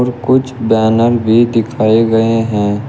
कुछ बैनर भी दिखाए गए हैं।